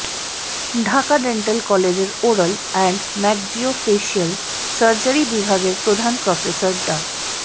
Dhaka dental কলেজের oral and maxillofacial surgery বিভাগের প্রধান প্রফেসর ডা